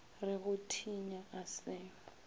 re go thinya a se